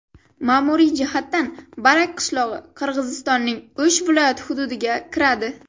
Ma’muriy jihatdan Barak qishlog‘i Qirg‘izistonning O‘sh viloyati hududiga kiradi.